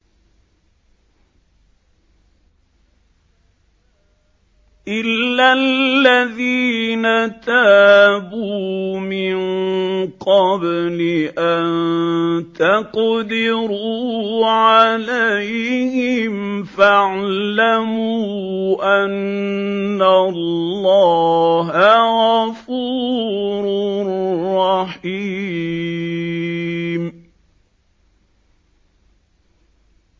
إِلَّا الَّذِينَ تَابُوا مِن قَبْلِ أَن تَقْدِرُوا عَلَيْهِمْ ۖ فَاعْلَمُوا أَنَّ اللَّهَ غَفُورٌ رَّحِيمٌ